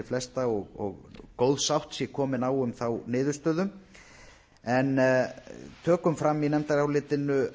flesta og góð sátt sé komin á um þá niðurstöðu en tökum fram í nefndarálitinu